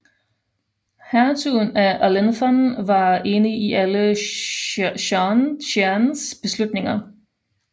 Hertugen af Alençon var enig i alle Jeannes beslutninger